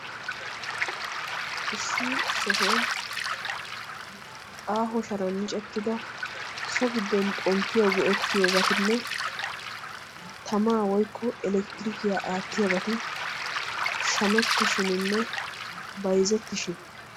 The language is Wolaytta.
Issi sohuwan aaho sharan micettida so giddon xomppiyawu go"ettiyobatinne tamaa woyikko elektirikiyaa aattiyoobati shamettishininne bayzettishin.